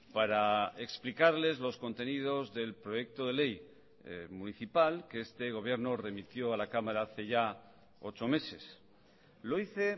para explicarles los contenidos del proyecto de ley municipal que este gobierno remitió a la cámara hace ya ocho meses lo hice